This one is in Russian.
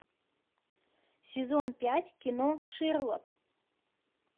сезон пять кино шерлок